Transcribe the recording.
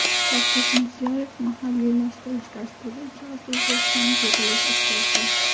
Shavkat Mirziyoyev mahalliylashtirish dasturi ijrosi yuzasidan yig‘ilish o‘tkazdi.